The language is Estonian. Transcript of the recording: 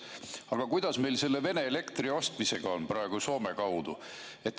Aga kuidas meil on praegu selle Vene elektri ostmisega Soome kaudu?